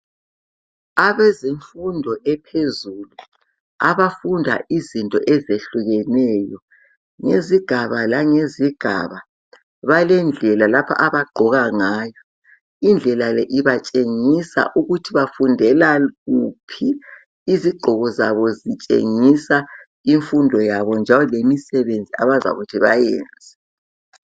Abezemfundo ephezulu abafunda izinto ezehlukeneyo ngezigaba langezigaba balendlela abagqoka ngayo. Indlela le ibatshengisa ukuthi bafundela kuphi, izigqoko zabo zitshengisa imfundo yabo lomsebenzi abazakuthi bawuyenze.